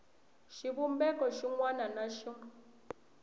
xivumbeko xin wana na xin